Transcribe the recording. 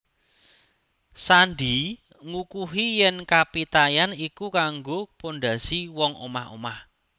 Sandi ngukuhi yèn kapitayan iku kanggo pondhasi wong omah omah